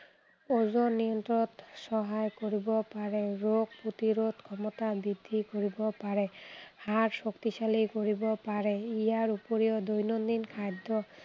ওজন নিয়ন্ত্ৰণত সহায় কৰিব পাৰে। ৰোগ প্ৰতিৰোধ ক্ষমতা বৃদ্ধি কৰিব পাৰে। হাড় শক্তিশালী কৰিব পাৰে। ইয়াৰ উপৰিও দৈনন্দিন খাদ্য়